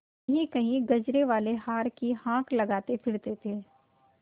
कहींकहीं गजरेवाले हार की हाँक लगाते फिरते थे